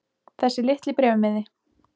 Þessi litli bréfmiði.